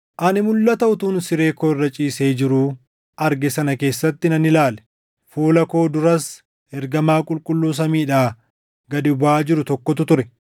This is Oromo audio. “Ani mulʼata utuun siree koo irra ciisee jiruu arge sana keessatti nan ilaale; fuula koo duras ergamaa qulqulluu samiidhaa gad buʼaa jiru tokkotu ture.